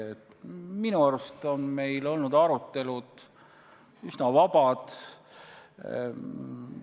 Minu arvates on meil arutelud olnud üsna vabad.